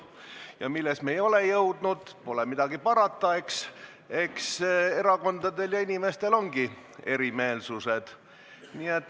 Ja milles me ei ole jõudnud – pole midagi parata, eks erakondadel ja inimestel ongi erimeelsused.